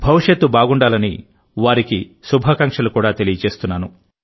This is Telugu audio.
భవిష్యత్తు బాగుండాలని వారికి శుభాకాంక్షలు కూడా తెలియజేస్తున్నాను